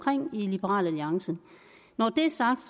i liberal alliance når det er sagt